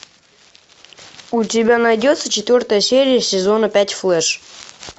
у тебя найдется четвертая серия сезона пять флэш